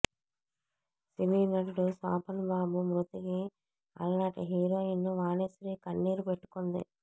సినీ నటుడు శోభన్ బాబు మృతికి అలనాటి హీరోయిన్ వాణిశ్రీ కన్నీరు పెట్టుకుంది